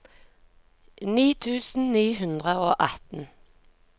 ni tusen ni hundre og atten